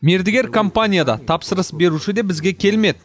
мердігер компания да тапсырыс беруші де бізге келмеді